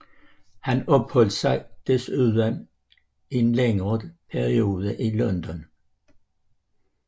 Han opholdt sig desuden en længere periode i London